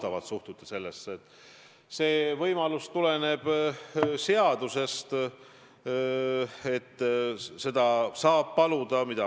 Aga kuidas sa seletad Urmas Reitelmanni valimist Eesti inimestele, kes tunnevad, et neid on solvatud?